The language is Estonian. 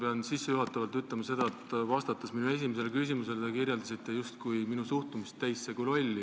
Ma pean sissejuhatavalt ütlema seda, et vastates minu esimesele küsimusele te justkui kirjeldasite minu suhtumist teisse kui lolli.